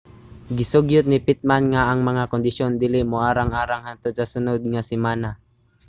gisugyot ni pittman nga ang mga kondisyon dili moarang-arang hangtod sa sunod nga semana